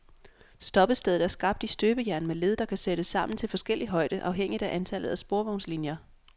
Stoppestedet er skabt i støbejern med led, der kan sættes sammen til forskellig højde afhængigt af antallet af sporvognslinier.